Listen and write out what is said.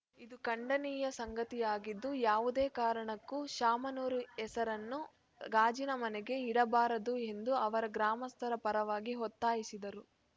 ಇದು ಖಂಡನೀಯ ಸಂಗತಿಯಾಗಿದ್ದು ಯಾವುದೇ ಕಾರಣಕ್ಕೂ ಶಾಮನೂರು ಹೆಸರನ್ನು ಗಾಜಿನ ಮನೆಗೆ ಇಡಬಾರದು ಎಂದು ಅವರು ಗ್ರಾಮಸ್ಥರ ಪರವಾಗಿ ಒತ್ತಾಯಿಸಿದರು